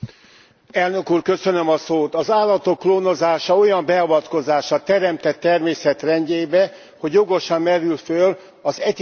Az állatok klónozása olyan beavatkozás a teremtett természet rendjébe, hogy jogosan merül föl az etikai alapú elutasítás.